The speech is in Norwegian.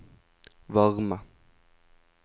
varme